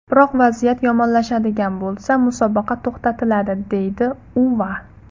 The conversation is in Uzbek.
Biroq vaziyat yomonlashadigan bo‘lsa, musobaqa to‘xtatiladi”, deydi Uva.